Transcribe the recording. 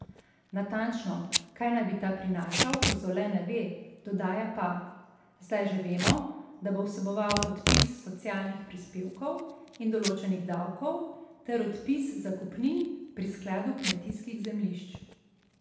Natančno, kaj naj bi ta prinašal, Kozole ne ve, dodaja pa: 'Zdaj že vemo, da bo vseboval odpis socialnih prispevkov in določenih davkov ter odpis zakupnin pri skladu kmetijskih zemljišč.